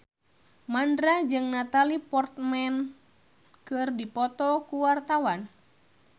Mandra jeung Natalie Portman keur dipoto ku wartawan